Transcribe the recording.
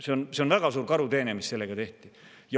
See on väga suur karuteene, mis sellega tehti.